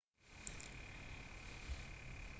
قرار است گلف و راگبی هر دو به بازی های المپیک بازگردند